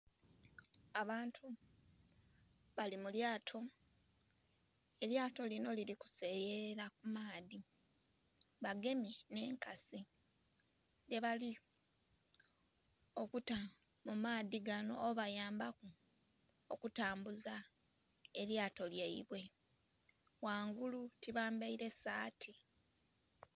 Abantu bali mulyato, elyato linho lirikuseyeyala kumaadhi bagemye nh'ekasi dhebali okuta mumaadhi ganho obayambaku okutambuza elyato lyaibwe ghangulu tibambeire saati.